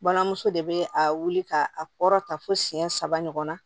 Balimamuso de bɛ a wuli ka a kɔrɔta fo siyɛn saba ɲɔgɔn na